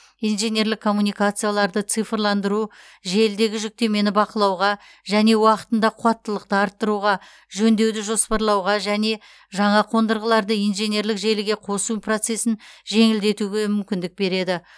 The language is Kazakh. инженерлік коммуникацияларды цифрландыру желідегі жүктемені бақылауға және уақытында қуаттылықты арттыруға жөндеуді жоспарлауға және жаңа қондырғыларды инженерлік желіге қосу процесін жеңілдетуге мүмкіндік береді